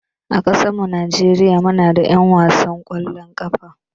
A ƙasan mu Nijeriya muna da 'yan wasan kwallon ƙafa